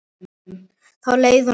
Þá leið honum best.